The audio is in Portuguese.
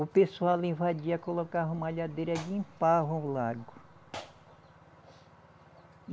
O pessoal invadia, colocava malhadeira e limpava o lago.